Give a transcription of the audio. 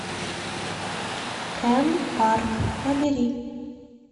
кен парк набери